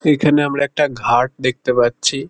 এখানে আমরা একটা ঘাট দেখতে পাচ্ছি।